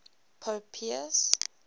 pope pius